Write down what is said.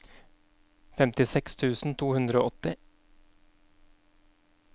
femtiseks tusen to hundre og åtti